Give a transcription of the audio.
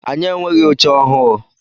Anyị enweghị oche ọhụụ.